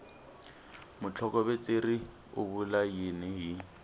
mutlhokovetseri u vula yini hi